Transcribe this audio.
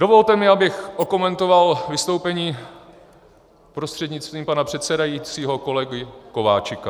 Dovolte mi, abych okomentoval vystoupení prostřednictvím pana předsedajícího kolegy Kováčika.